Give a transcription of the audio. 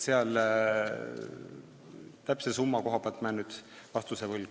Täpse summa koha pealt jään vastuse võlgu.